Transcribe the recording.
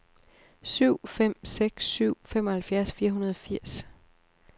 syv fem seks syv femoghalvfjerds fire hundrede og firs